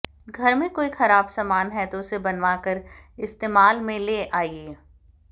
घर में कोई खराब सामान हैं तो उसे बनवाकर इस्तेमाल में ले आइये